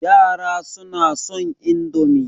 Yara suna son Indomi